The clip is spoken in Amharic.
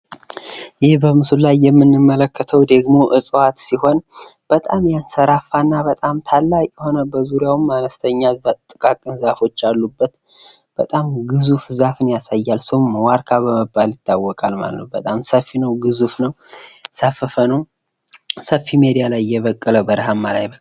ይህ በምስሉ ላይ የምንመለከተው ደግሞ እፅዋት ሲሆን በጣም የተሰራፋ እና በጣም ታላቅ የሆነ በዙሪያውም አነስተኛ የሆነ ጥቃቅን ዛፎች ያሉበት በጣም ግዙፍ ዛፍ ያሳያል። ዋርካ በመባል ይታወቃል ማለት ነው። በጣም ሰፊ ነው ግዙፍ ነው። ሰፊ ሜዳ ላይ የበቀ በረሀማ ላይ የበቀለ